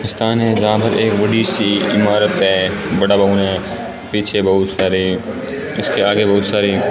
स्थान है जहां पर एक बड़ी सी इमारत है बड़ा भवन है पीछे बहुत सारे उसके आगे बहुत सारे --